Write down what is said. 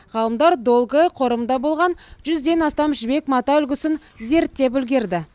ғалымдар долгы қорымында болған жүзден астам жібек мата үлгісін зерттеп үлгерді